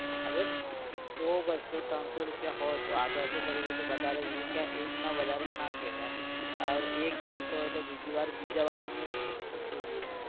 અરે સો બસો ત્રણસો રૂપિયા હોય તો आधा आधा કરી લઈએ તો બધાને એક ને વધારે ના કહેવાય ઔર એક જેલતો હોય તો બીજી વાર બીજાવાળાને સમજવું જોઈએ.